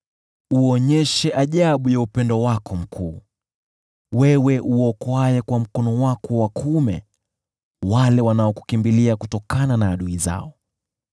Uonyeshe ajabu ya upendo wako mkuu, wewe uokoaye kwa mkono wako wa kuume wale wanaokukimbilia kutokana na adui zao.